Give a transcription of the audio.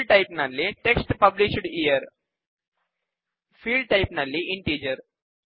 field type ನಲ್ಲಿ text published year field type ನಲ್ಲಿ integer